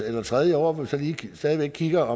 eller tredje år hvor vi så lige stadig væk kigger